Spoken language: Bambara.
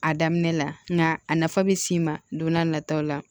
A daminɛ la nka a nafa bɛ s'i ma don n'a nataw la